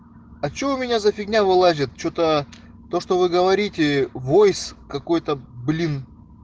а что у меня за фигня вылазит что-то то что вы говорите войс какой-то блин